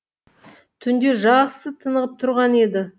түнде жақсы тынығып тұрған еді